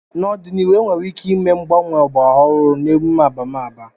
N'ọdịnihu, enwere ike ịme mgbanwe ọgbara ọhụrụ nke emume abamaba.